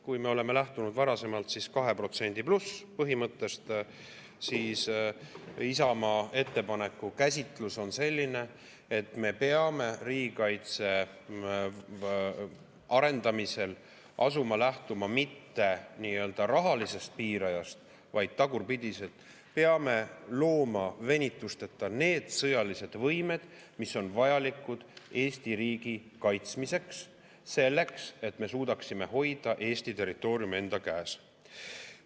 Kui me oleme lähtunud varasemalt 2%+ põhimõttest, siis Isamaa ettepaneku käsitlus on selline, et me peame riigikaitse arendamisel lähtuma mitte rahalisest piirajast, vaid tagurpidi: peame looma venitusteta need sõjalised võimed, mis on vajalikud Eesti riigi kaitsmiseks, selleks et me suudaksime hoida Eesti territooriumi enda käes.